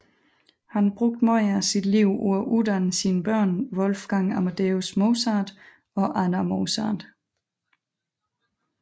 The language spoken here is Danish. Han brugte meget af sit liv på at uddanne sine børn Wolfgang Amadeus Mozart og Anna Mozart